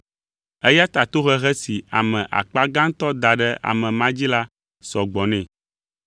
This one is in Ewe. Eya ta tohehe si ame akpa gãtɔ da ɖe ame ma dzi la sɔ gbɔ nɛ.